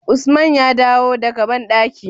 Usman ya dawo daka badankin?